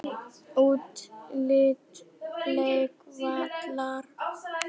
Útlit leikvallar?